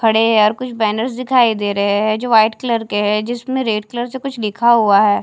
खड़े हैं यार कुछ बैनर दिखाई दे रहे है जो वाइट कलर के है जिसमे रेड कलर से कुछ लिखा हुआ है।